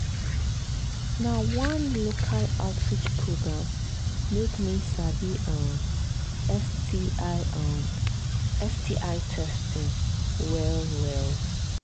na one local outreach program make me sabi um sti um sti testing well well